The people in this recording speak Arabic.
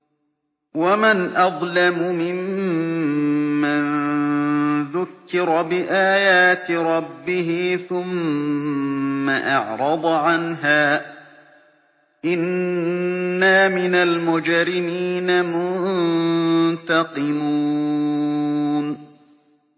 وَمَنْ أَظْلَمُ مِمَّن ذُكِّرَ بِآيَاتِ رَبِّهِ ثُمَّ أَعْرَضَ عَنْهَا ۚ إِنَّا مِنَ الْمُجْرِمِينَ مُنتَقِمُونَ